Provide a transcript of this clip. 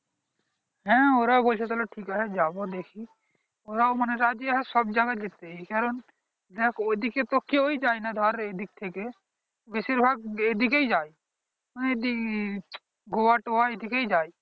হ্যাঁ ওরাও বলছে যে ঠিক আছে যাবো দেখি ওরাও মানে রাজি হয়ে সব জায়গা যেতে এই কারণ যাক ওই দিকে তো কেউ যায় না ধর এই দিক থেকে বেশিরভাগ এই দিকেই যায় গোয়া টোআ এই দিকেই যায়